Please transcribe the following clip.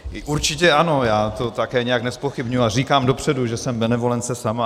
Určitě ano, já to také nijak nezpochybňuji a říkám dopředu, že jsem benevolence sama.